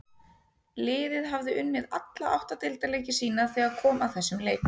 Liðið hafði unnið alla átta deildarleiki sína þegar kom að þessum leik.